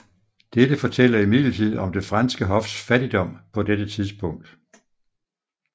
Dette fortæller imidlertid om det franske hofs fattigdom på dette tidspunkt